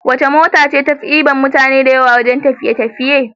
Wace mota ce tafi diban mutane da yawa wajan tafiye tafiye